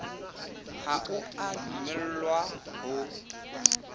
ha o a dumellwa ho